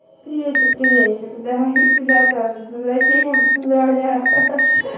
приветик приветик да я тебя тоже с возвращением поздравляю ха-ха